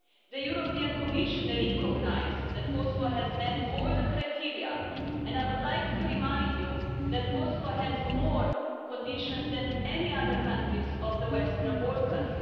The European Commission recognised that Kosovo has met all the criteria, and I would like to remind you that Kosovo had more conditions than any other countries of the Western Balkans.